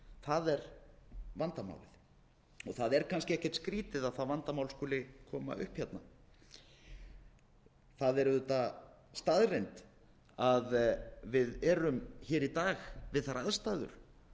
það er vandamálið og það er kannski ekkert skrýtið að það vandamál skuli koma upp það er auðvitað staðreynd að við erum í dag við þær aðstæður